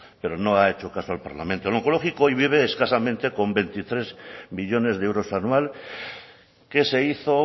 pero no ha hecho caso al parlamento el oncológico hoy vive escasamente con veintitrés millónes de euros anual que se hizo